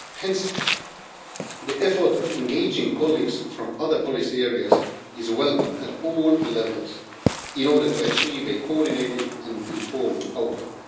Hence the effort of engaging colleagues from other policy areas is welcome at all levels in order to achieve a coordinated and informed outcome.